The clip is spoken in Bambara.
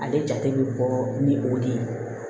Ale jate bɛ bɔ ni o de ye